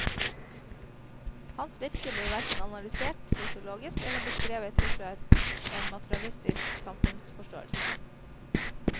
Hans virke blir hverken analysert sosiologisk, eller beskrevet ut fra en materialistisk samfunnsforståelse.